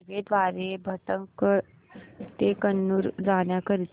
railway द्वारे भटकळ ते कन्नूर जाण्या करीता